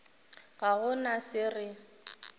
ga go na se re